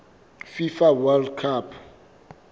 fifa world cup